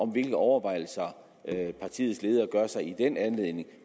på hvilke overvejelser partiets ledere gør sig i den anledning